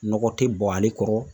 Nɔgɔ te bɔn ale kɔrɔ